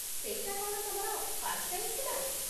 ସେଇଟା କ'ଣ ତମର ଫାର୍ଷ୍ଟ ଟାଇମ୍ ଥିଲା?